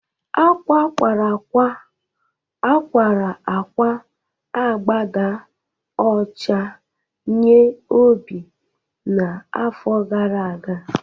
Akwa akwa akwa akwa akwa agbada ọcha nye Obi n’afọ gara aga